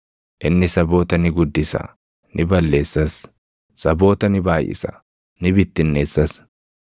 Inni saboota ni guddisa; ni balleessas; saboota ni baayʼisa; ni bittinneessas.